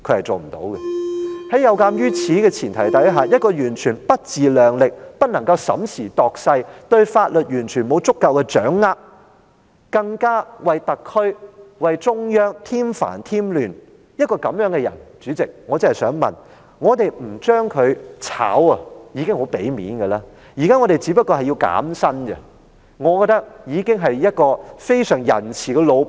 在這個前提下，一位完全不自量力、不能審時度勢、對法律沒有足夠掌握，更加為特區和中央添煩添亂的人，主席，我想說，我們不解僱他已經很給面子了，我們現時只是提出削減他的薪酬，我認為大家已經是相當仁慈的老闆。